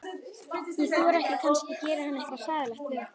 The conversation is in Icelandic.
Ég þori ekki, kannski gerir hann eitthvað hræðilegt við okkur.